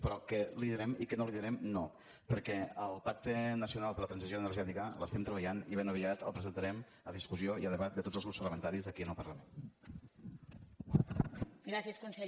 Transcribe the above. però què li direm i què no li direm no perquè el pacte nacional per la transició energètica l’estem treballant i ben aviat el presentarem a discussió i a debat de tots els grups parlamentaris aquí en el parlament